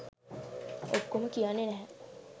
ඔක්කොම කියන්නේ නැහැ